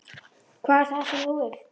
Hvað er það sem þú vilt?